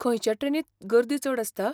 खंयचे ट्रेनींत गर्दी चड आसता?